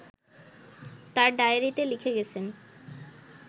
তাঁর ডায়েরিতে লিখে গেছেন